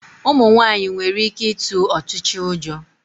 Ụmụ nwaanyị nwere ike ịtụ ọchịcha ụjọ.